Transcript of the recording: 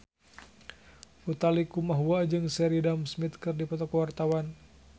Utha Likumahua jeung Sheridan Smith keur dipoto ku wartawan